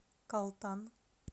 калтан